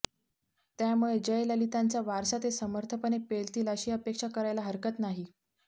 त्यामुळे जयललितांचा वारसा ते समर्थपणे पेलतील अशी अपेक्षा करायला हरकत नाही